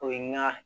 O ye n ga